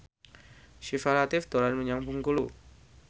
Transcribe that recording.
Syifa Latief dolan menyang Bengkulu